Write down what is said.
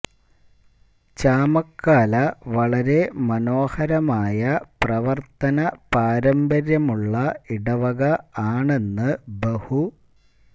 ചാമക്കാല വളരെ മനോഹരമായ പ്രവർത്തന പാരമ്പര്യമുള്ള ഇടവക ആണെന്ന് ബഹു